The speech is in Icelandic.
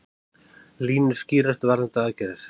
Línur skýrast varðandi aðgerðir